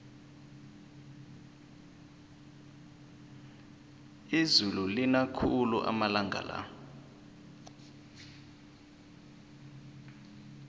izulu lina khulu amalanga la